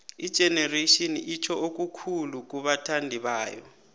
igenerations itjho okukhulu kubathandibayo